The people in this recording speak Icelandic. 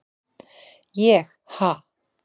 ég- ha?